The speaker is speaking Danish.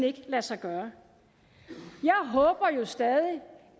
ikke kan lade sig gøre jeg håber jo stadig